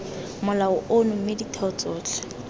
molao ono mme ditheo tsotlhe